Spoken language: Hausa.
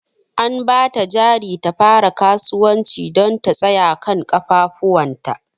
An ba ta jari ta fara kasuwanci don ta tsaya kan ƙafafuwanta.